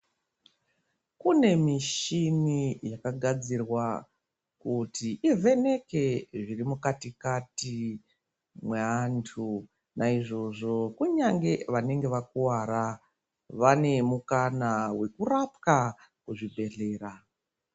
Kune mishini yakagadzirwa kuti ivheneke zviri mukatikati mweantu. Naizvozvo kunyange vanenge vakuwara, vane mukana wekurapwa kuzvibhedhlera.